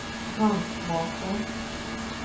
Handskmakarn